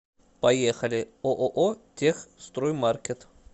поехали ооо техстроймаркет